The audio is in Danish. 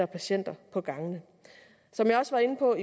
patienter på gangene som jeg også var inde på